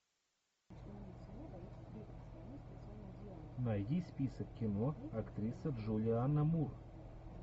найди список кино актриса джулиана мур